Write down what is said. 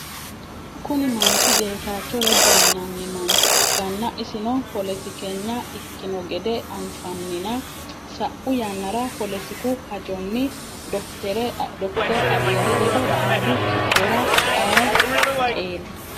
kuni manchi geetaacho reda yinanni mancho ikkanna , isino poletikenya ikkino gede anfanina, sau yannara poletiku hajonni dokiteri abiy ledo xaaddu kiphora ayi qeeli?